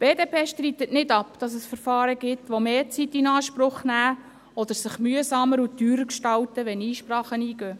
Die BDP streitet nicht ab, dass es Verfahren gibt, die mehr Zeit beanspruchen oder sich mühsamer und teurer gestalten, wenn Einsprachen eingehen.